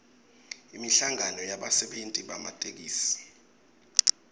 inhlangano yebasebenti bematekisi